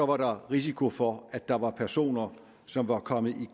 var der risiko for at der var personer som var kommet i